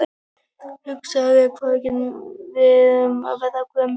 Hugsaðu þér hvað við erum að verða gömul.